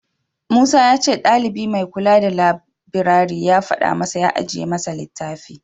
Musa ya ce ɗalibi mai kula da labirari ya faɗa masa ya ajiye masa littafi.